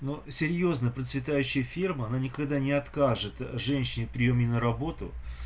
ну серьёзно процветающая фирма она никогда не откажет женщине в приёме на работу